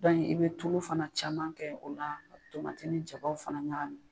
i be tulu fana caman kɛ o la, ka tomati ni jabaw fana ɲagamin.